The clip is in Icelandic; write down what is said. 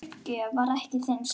Uppgjöf var ekki þinn stíll.